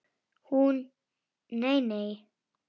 Hún: Nei nei.